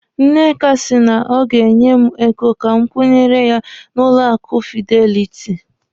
Nneka si na ọ ga-enye m ego ka m kwụnyere ya n'ụlọ akụ Fideliti banki.